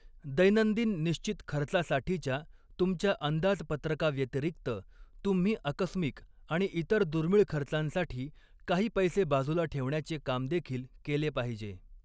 दैनंदिन निश्चित खर्चासाठीच्या तुमच्या अंदाजपत्रका व्यतिरिक्त, तुम्ही आकस्मिक आणि इतर दुर्मिळ खर्चांसाठी काही पैसे बाजूला ठेवण्याचे काम देखील केले पाहिजे.